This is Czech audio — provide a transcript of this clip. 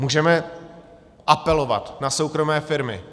Můžeme apelovat na soukromé firmy.